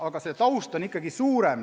Aga see taust on ikkagi laiem.